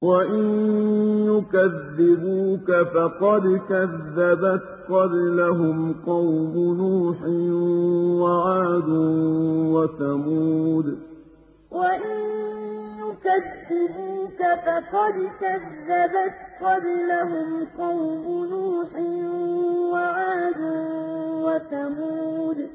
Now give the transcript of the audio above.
وَإِن يُكَذِّبُوكَ فَقَدْ كَذَّبَتْ قَبْلَهُمْ قَوْمُ نُوحٍ وَعَادٌ وَثَمُودُ وَإِن يُكَذِّبُوكَ فَقَدْ كَذَّبَتْ قَبْلَهُمْ قَوْمُ نُوحٍ وَعَادٌ وَثَمُودُ